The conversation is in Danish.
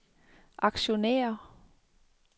aktionærer